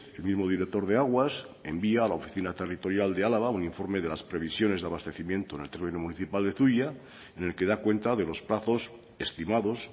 el mismo director de aguas envía a la oficina territorial de álava un informe de las previsiones de abastecimiento en el término municipal de zuia en el que da cuenta de los plazos estimados